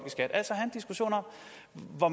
hvor